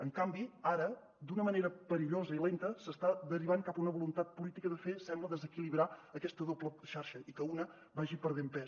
en canvi ara d’una manera perillosa i lenta s’està derivant cap a una voluntat política de fer sembla desequilibrar aquesta doble xarxa i que una vagi perdent pes